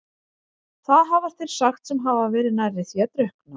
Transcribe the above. Það hafa þeir sagt sem hafa verið nærri því að drukkna.